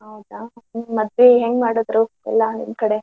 ಹೌದಾ ಮತ್ತೆ ಹೆಂಗ್ ಮಾಡಿದ್ರು ಎಲ್ಲಾ ನಿಮ್ ಕಡೆ?